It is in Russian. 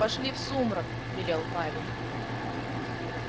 пошли в сумрак велел парень